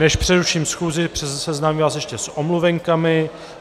Než přeruším schůzi, seznámím vás ještě s omluvenkami.